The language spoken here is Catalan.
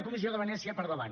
comissió de venècia per davant